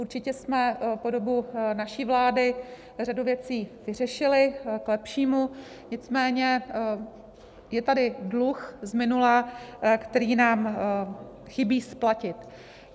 Určitě jsme po dobu naší vlády řadu věcí vyřešili k lepšímu, nicméně je tady dluh z minula, který nám chybí splatit.